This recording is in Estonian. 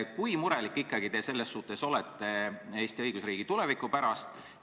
Kui murelik te selles suhtes olete Eesti õigusriigi tuleviku pärast?